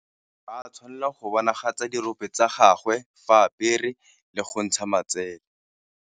Ga a tshwanela go bonagatsa dirope tsa gagwe fa apere le go ntsha matsele.